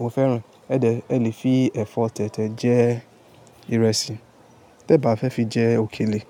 mo fẹ́ràn e. Ẹ dẹ́, ẹ lè fi ẹ̀fọ́ tẹ̀tẹ̀ jẹ ìrẹsì. Tẹ́ bá fẹ́ fi jẹ òkèlè,